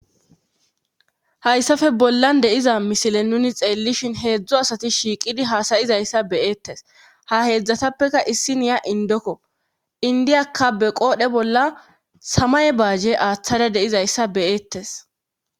Hayssafe bollan deiza misile nuni xeellishin heedzdzo asati shiiqidi haasayizayssa beyeettes ha heedzdzatappeka issi niya indokko indiyakka be qoodhe bolla samay baajje aaththada deizayssa beyeettes